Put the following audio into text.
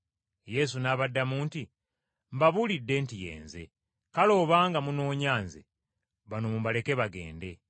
Yesu n’abaddamu nti, “Mbabuulidde nti, Ye Nze. Kale obanga munoonya Nze, bano mubaleke bagende.”